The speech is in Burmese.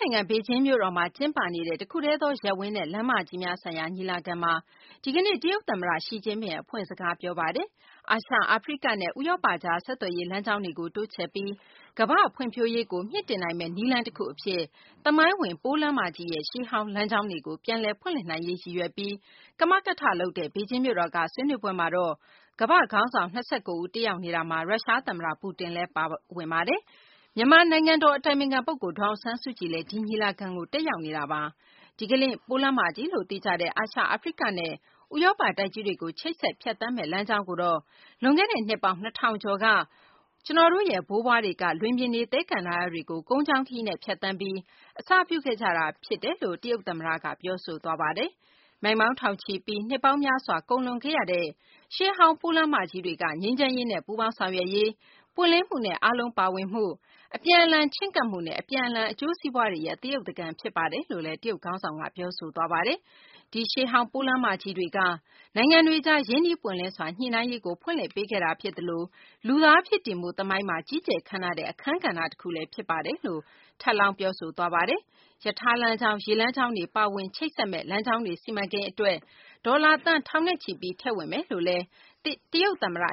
နိုင်ငံ ဘေဂျင်းမြို့တော်မှာ ကျင်းပနေတဲ့ တခုတည်းသော ရပ်ဝန်းနဲ့ လမ်းမကြီးများဆိုင်ရာ ညီလာခံမှာ ဒီကနေ့ တရုတ် သမ္မတ ရှိကျင်းဖျင် အဖွင့်စကား ပြောပါတယ်။ အာရှ၊ အာဖရိကနဲ့ ဥရောပ ကြား ဆက်သွယ်ရေး လမ်းကြောင်းတွေကို တိုးချဲ့ပြီး ကမ္ဘာ့ ဖွံ့ဖြိုးရေးကို မြှင့်တင်နိုင်မယ့် နည်းလမ်း တခု အဖြစ် သမိုင်းဝင် ပိုးလမ်းမကြီးရဲ့ ရှေးဟောင်း လမ်းကြောင်းတွေကို ပြန်လည် ဖွင့်လှစ်နိုင်ရေး ရည်ရွယ်ပြီး ကမကထလုပ်တဲ့ ဘေဂျင်းမြို့တော်က ဆွေးနွေးပွဲမှာတော့ ကမ္ဘာ့ခေါင်းဆောင် ၂၉ ဦး တက်ရောက်နေပြီး ရုရှား သမ္မတ ပူတင်လည်း တက်ရောက်နေပါတယ်။ မြန်မာ နိုင်ငံတော် အတိုင်ပင်ခံ ပုဂ္ဂိုလ် ဒေါ်အောင်ဆန်းစုကြည်လည်း ဒီ ညီလာခံမှာ တက်ရောက်နေတာပါ။ ဒီကနေ့ ပိုးလမ်းမကြီးလို့ သိကြတဲ့ အာရှ၊ အာဖရိကနဲ့ ဥရောပ တိုက်ကြီးတွေကို ချိတ်ဆက် ဖြတ်သန်းတဲ့ လမ်းကြောင်းကိုတော့ လွန်ခဲ့တဲ့ နှစ်ပေါင်း ၂ ထောင်ကျော်က ကျနော်တို့ရဲ့ ဘိုးဘွားတွေက လွင်ပြင်တွေ သဲကန္တာရတွေကို ကုန်းကြောင်းခရီးနဲ့ ဖြတ်သန်းပြီး အစပြုခဲ့ကြတာ ဖြစ်ပါတယ်။ မိုင်ပေါင်းထောင်ချီပြီး နှစ်ပေါင်းများစွာ ကုန်လွန်ခဲ့ရတဲ့ ရှေးဟောင်း ပိုးလမ်းမကြီးတွေက ငြိမ်းချမ်းရေးနဲ့ ပူးပေါင်းဆောင်ရွက်ရေး၊ ပွင့်လင်းမှုနဲ့ အားလုံးပါဝင်မှု၊ အပြန်အလှန်ချဉ်းကပ်မှုနဲ့ အပြန်အလှန် အကျိုးစီးပွားတွေရဲ့ သရုပ်သကန် ဖြစ်ပါတယ်လို့လည်း တရုတ်ခေါင်းဆောင်က ပြောဆိုခဲ့ပါတယ်။ ဒီရှေးဟောင်း ပိုးလမ်းမကြီးတွေက နိုင်ငံတွေကြား ရင်းနှီးပွင့်လင်းစွာ ညှိနှိုင်းရေးကို ဖွင့်လှစ်ပေးခဲ့တာ ဖြစ်သလို လူသားဖြစ်တည်မှု သမိုင်းမှာ ကြီးကျယ်ခမ်းနားတဲ့ အခန်းကဏ္ဍတခုလည်း ဖြစ်ပါတယ်လို့ ထပ်လောင်း ပြောဆိုသွားပါတယ်။ ရထား လမ်းကြောင်း၊ ရေကြောင်းလမ်းတွေ ပါဝင်မယ့် ချိတ်ဆက် လမ်းကြောင်းတွေ စီမံကိန်း အတွက် ဒေါ်လာ သန်းထောင်နဲ့ချီပြီး ထည့်ဝင်မယ်လို့ တရုတ် သမ္မတ